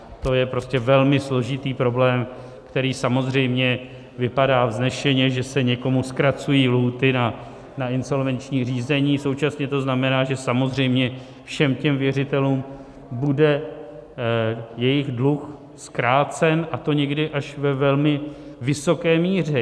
To je prostě velmi složitý problém, který samozřejmě vypadá vznešeně, že se někomu zkracují lhůty na insolvenční řízení, současně to znamená, že samozřejmě všem těm věřitelům bude jejich dluh zkrácen, a to někdy až ve velmi vysoké míře!